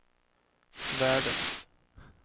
världens